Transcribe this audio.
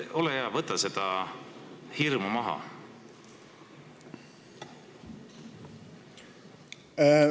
Ole hea, võta seda hirmu maha!